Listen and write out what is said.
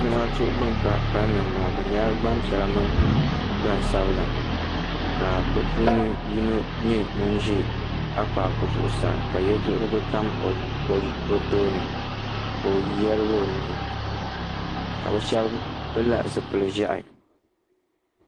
Zamaatu bin ka kalinli n bɔŋo bi nyɛla gbanpiɛla mini gbansabila ka bi puuni yino nyɛ ŋun ʒɛ akpaaku zuɣusaa ka yɛduhirigu tam o tooni ka o yaligi o nuhi ka bi shɛba pili la zipili ʒiɛhi.